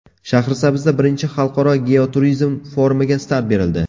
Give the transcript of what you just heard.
Shahrisabzda I Xalqaro Geoturizm forumiga start berildi.